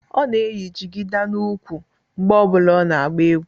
Ọ na-eyi jigida n'úkwù mgbe ọ bụla ọ na-agba egwu